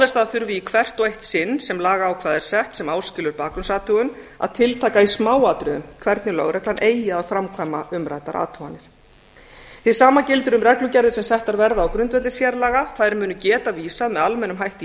að þurfi í hvert og eitt sinn sem lagaákvæði er sett sem áskilur bakgrunnsathugun að tiltaka í smáatriðum hvernig lögreglan eigi að framkvæma umræddar athuganir hið sama gildir um reglugerðir sem settar verða á grundvelli sérlaga þær munu geta vísað með almennum hætti í